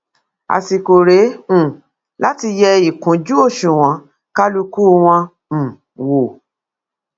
àsìkò rèé um láti yẹ ìkúnjú òṣùwọn kálukú wọn um wò